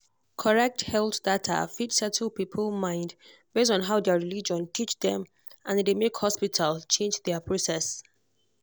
correct health data fit settle people mind based on how their religion teach dem and e dey make hospital change their process.